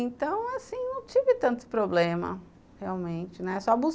Então, assim, não tive tanto problema, realmente, né? só bus